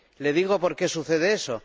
¿Le digo por qué sucede eso?